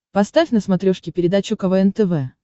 поставь на смотрешке передачу квн тв